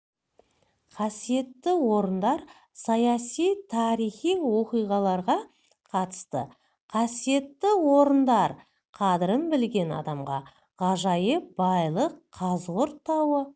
қасиетті орындар саяси тарихи оқиғаларға қатысты қасиетті орындар қадірін білген адамға ғажайып байлық қазығұрт тауы